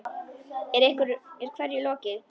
Er hverju lokið?